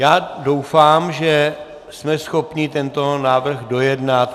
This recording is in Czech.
Já doufám, že jsme schopni tento návrh dojednat.